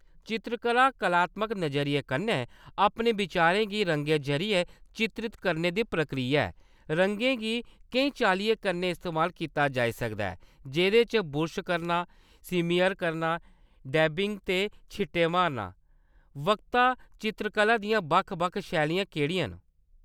चित्तरकला कलात्मक नजरिये कन्नै अपने वचारें गी रंगें जरियै चित्रत करने दी प्रक्रिया ऐ। रंगें गी केईं चाल्लियें कन्नै इस्तेमाल कीता जाई सकदा ऐ, जेह्‌‌‌दे च बुरश करना, स्मियर करना, डैबिंग ते छिट्टे मारना। वक्ता चित्तरकला दियां बक्ख-बक्ख शैलियां केह्‌ड़ियां‌ न?